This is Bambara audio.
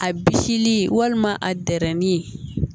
A bisili walima a dɛrɛli